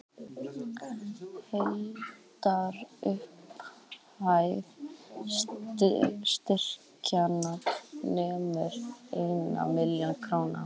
Heildarupphæð styrkjanna nemur einni milljón króna